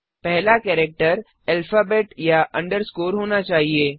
पहला character alphabet या underscore होना चाहिए